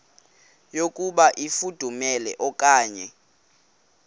yokuba ifudumele okanye